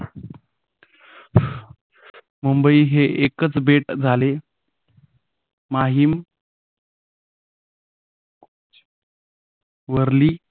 मुंबई हे एकच बेट झाले माहीम वरली